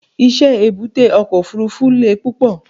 iṣẹ èbúté oko ofurufu le púpò